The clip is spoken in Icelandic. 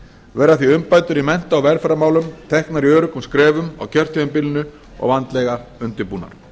verða því umbætur í mennta og velferðarmálum teknar í öruggum skrefum á kjörtímabilinu og vandlega undirbúnar